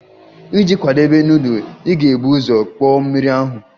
Iji kwadebe nudulu, ị ga-ebu ụzọ kpoo mmiri ahụ.